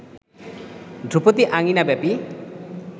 ধ্রুপদী আঙিনা ব্যাপী